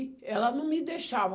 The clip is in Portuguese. E ela não me deixava.